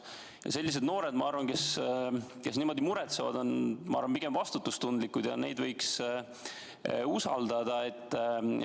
Ma arvan, et sellised noored, kes muretsevad, on pigem vastutustundlikud ja neid võiks usaldada.